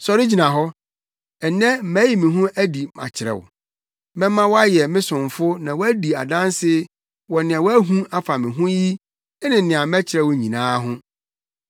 Sɔre gyina hɔ. Nnɛ mayi me ho adi akyerɛ wo; mɛma woayɛ me somfo na woadi adanse wɔ nea woahu afa me ho yi ne nea mɛkyerɛ wo nyinaa ho.